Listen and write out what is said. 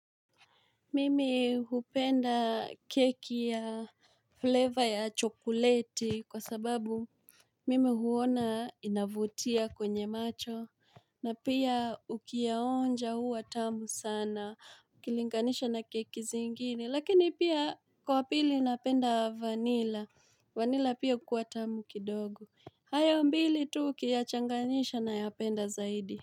Mimi hupenda keki ya flavor ya chokoleti kwa sababu mimi huona inavutia kwenye macho na pia ukiyaonja huwa tamu sana ukilinganisha na keki zingine lakini pia kwa pili napenda vanilla vanilla pia hukuwa tamu kidogo hayo mbili tu ukiyachanganisha nayapenda zaidi.